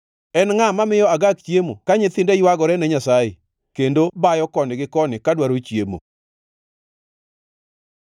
En ngʼa mamiyo agak chiemo ka nyithinde ywagore ne Nyasaye, kendo bayo koni gi koni ka dwaro chiemo?